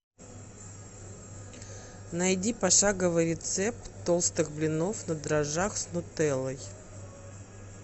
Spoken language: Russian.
найди пошаговый рецепт толстых блинов на дрожжах с нутеллой